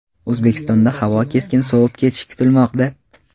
O‘zbekistonda havo keskin sovib ketishi kutilmoqda.